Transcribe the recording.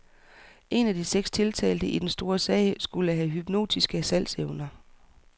En af de seks tiltalte i den store sag skulle have hypnotiske salgsevner.